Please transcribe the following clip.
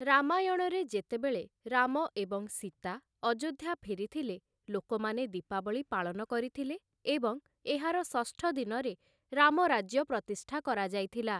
ରାମାୟଣରେ ଯେତେବେଳେ ରାମ ଏବଂ ସୀତା ଅଯୋଧ୍ୟା ଫେରିଥିଲେ, ଲୋକମାନେ ଦୀପାବଳୀ ପାଳନ କରିଥିଲେ ଏବଂ ଏହାର ଷଷ୍ଠ ଦିନରେ ରାମରାଜ୍ୟ ପ୍ରତିଷ୍ଠା କରାଯାଇଥିଲା ।